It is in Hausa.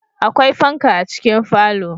Akwai fanka a cikin falo